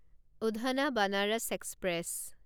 Udhna Banaras express